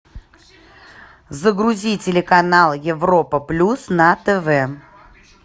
загрузи телеканал европа плюс на тв